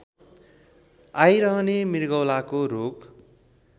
आइरहने मृगौलाको रोग